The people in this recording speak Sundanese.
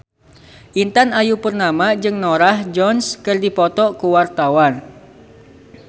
Intan Ayu Purnama jeung Norah Jones keur dipoto ku wartawan